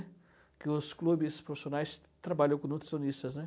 Porque os clubes profissionais trabalham com nutricionistas, né?